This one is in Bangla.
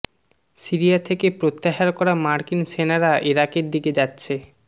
সিরিয়া থেকে প্রত্যাহার করা মার্কিন সেনারা ইরাকের দিকে যাচ্ছে